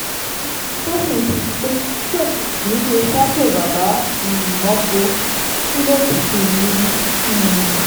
ohun kan tó sì ń sọ ni pé usoomhole kì í ṣe sacho bàbá um mọ́ o shino pikin ni um